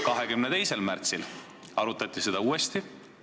22. märtsil arutati seda uuesti.